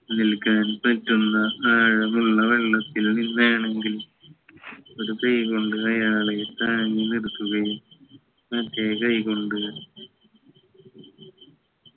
നിൽക്കാൻ പറ്റുന്ന ആഴമുള്ള വെള്ളത്തിൽ നിന്നാണെങ്കിൽ ഒരു കൈ കൊണ്ട് അയാളെ താങ്ങി നിർത്തുകയും മറ്റേ കൈ കൊണ്ട്